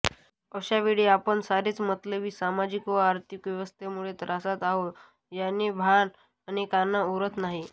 अशावेळी आपण सारेच मतलबी सामाजिक व आर्थिक व्यवस्थेमुळे त्रासात आहोत याचे भान अनेकांना उरत नाही